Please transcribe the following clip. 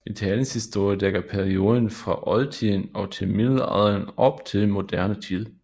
Italiens historie dækker perioden fra oldtiden op til middelalderen og op til moderne tid